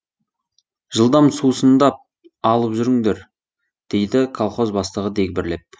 жылдам сусындап алып жүріңдер дейді колхоз бастығы дегбірлеп